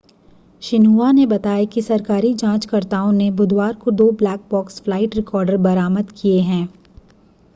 Xinhua ने बताया कि सरकारी जांचकर्ताओं ने बुधवार को दो ब्लैक बॉक्स फ़्लाइट रिकॉर्डर बरामद किए हैं